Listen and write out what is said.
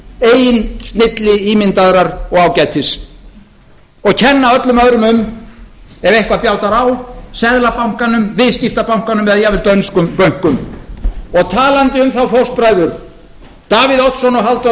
milli ímyndaðrar og ágætis og kenna öllum öðrum um ef eitthvað bjátar á seðlabankanum viðskiptabönkunum eða jafnvel dönskum bönkum og talandi um þá fóstbræður davíð oddsson og halldór